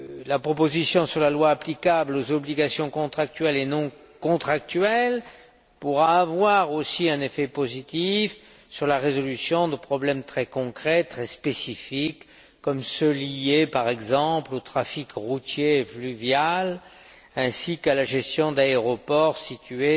La proposition sur la loi applicable aux obligations contractuelles et non contractuelles pourra aussi avoir un effet positif sur la résolution de problèmes très concrets, très spécifiques, comme ceux liés, par exemple, aux trafics routier et fluvial, ainsi qu'à la gestion d'aéroports situés